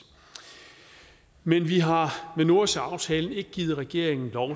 men vi har med nordsøaftalen ikke givet regeringen lov